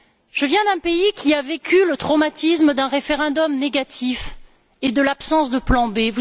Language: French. Je viens d'un pays qui a vécu le traumatisme d'un référendum négatif et de l'absence de plan B.